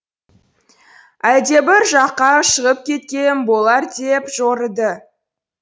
әлдебір жаққа шығып кеткен болар деп жорыды